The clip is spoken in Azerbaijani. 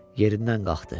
Yerindən qalxdı.